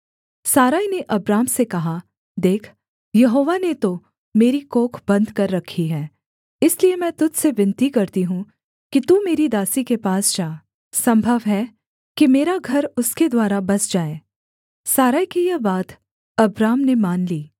सारै ने अब्राम से कहा देख यहोवा ने तो मेरी कोख बन्द कर रखी है इसलिए मैं तुझ से विनती करती हूँ कि तू मेरी दासी के पास जा सम्भव है कि मेरा घर उसके द्वारा बस जाए सारै की यह बात अब्राम ने मान ली